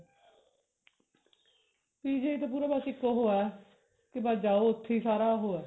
PGI ਤਾਂ ਪੂਰਾ ਬਸ ਇੱਕ ਉਹ ਹੈ ਕਿ ਸ ਜਾਓ ਉੱਥੇ ਹੀ ਸਾਰਾ ਉਹ ਹੈ